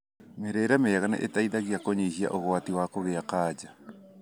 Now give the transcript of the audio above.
Mĩrĩire mĩega nĩ iteithagia kũnyihia ũgwati wa kũgia kanja.